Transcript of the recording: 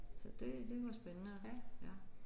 Så det det var spændende ja